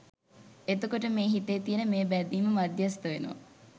එතකොට මේ හිතේ තියෙන මේ බැඳීම මධ්‍යස්ථ වෙනවා